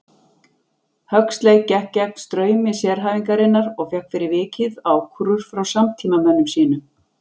Huxley gekk gegn straumi sérhæfingarinnar og fékk fyrir vikið ákúrur frá samtímamönnum sínum.